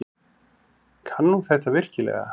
Kann hún þetta virkilega?